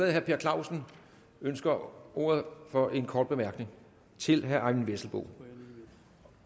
at herre per clausen ønsker ordet for en kort bemærkning til herre eyvind vesselbo